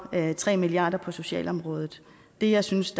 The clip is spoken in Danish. tre milliard kroner på socialområdet det jeg synes